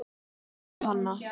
Kveðja, Hanna.